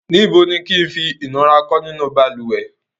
Níbo ni kí ẹ gberò lati fi dígi sínu baluwẹ̀ rẹ̀?